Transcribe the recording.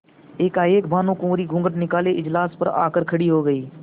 एकाएक भानुकुँवरि घूँघट निकाले इजलास पर आ कर खड़ी हो गयी